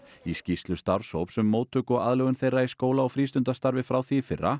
í skýrslu starfshóps um móttöku og aðlögun þeirra í skóla og frístundastarfi frá því í fyrra